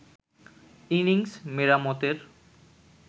innings মেরামতের